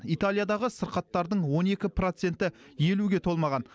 италиядағы сырқаттардың он екі проценті елуге толмаған